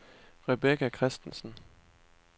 Rebecca Christensen